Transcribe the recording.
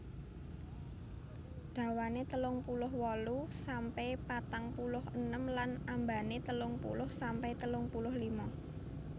Dhawane telung puluh wolu sampe patang puluh enem lan ambane telung puluh sampe telung puluh lima